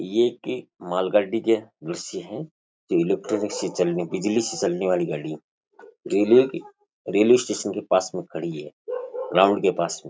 ये एक मालगाड़ी के दर्शय हैं जो ये लोग बिजली से चलने वाली गाड़ी है रेलवे रेलवे स्टेशन के पास में खड़ी है ग्राउंड के पास में।